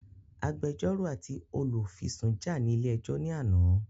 Agbẹjọ́rò àti Olùfisùn jà ní ilé ẹjọ́ ní àná